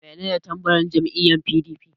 Menene tambarin jam'iyyar PDP?